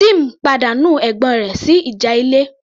Tim pàdánù ẹ̀gbọ́n rẹ̀ sí ìjà ilé